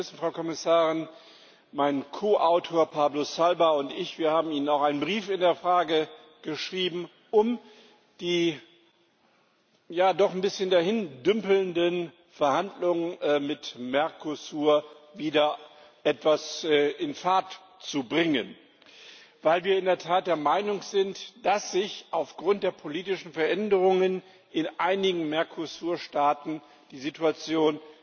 Sie wissen, Frau Kommissarin, mein Ko Autor Pablo Zalba Bidegain und ich haben Ihnen auch einen Brief in der Frage geschrieben, um die ja doch ein bisschen dahindümpelnden Verhandlungen mit Mercosur wieder etwas in Fahrt zu bringen, weil wir in der Tat der Meinung sind, dass sich aufgrund der politischen Veränderungen in einigen Mercosur Staaten die Situation